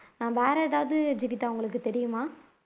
வேற எதாவது ஜீவிதா உங்களுக்கு தெரியுமா